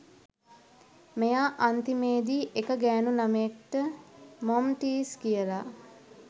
මෙයා අන්තිමේදි එක ගෑනු ලමයෙක්ට මොම්ටීස් කියලා